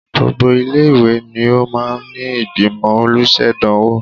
Gbogbo ilé-ìwé ni ó máa ń ní ìgbìmọ̀ olùṣèdánwò